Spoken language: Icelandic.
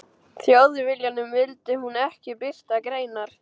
Þjóðviljanum vildi hún ekki birta greinar.